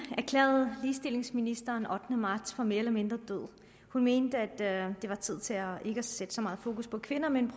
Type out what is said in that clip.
erklærede ligestillingsministeren den ottende marts for mere eller mindre død hun mente at det var tid til ikke at sætte så meget fokus på kvinder men